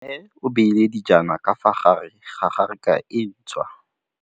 Mmê o beile dijana ka fa gare ga raka e ntšha.